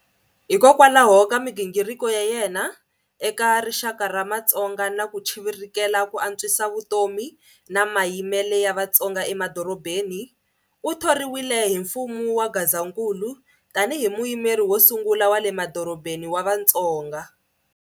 Hikwalaho ka migingiriko ya yena eka rixaka ra matsonga na ku chivirikela ku antswisa vutomi na mayimele ya Vatsonga emadorobheni, uthoriwile hi mfumo wa Gazankulu tani hi muyimeri wosungula wa le madorobheni wa vatsonga.